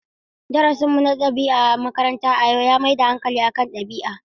Darasinmu na ɗabi'a a makaranta a yau ya mai da hankali kan biyayya.